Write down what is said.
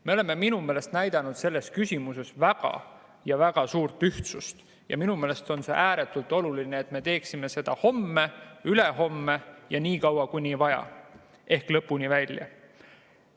Me oleme minu meelest näidanud selles küsimuses väga suurt ühtsust ja minu meelest on ääretult oluline, et me teeksime seda ka homme, ülehomme ja nii kaua kui vaja ehk lõpuni välja.